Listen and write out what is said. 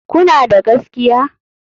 Kuna da gaskiya?